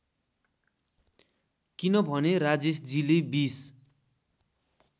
किनभने राजेशजीले २०